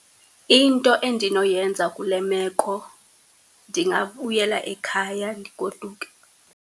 Into endinoyenza kule meko, ndingabuyela ekhaya, ndigoduke.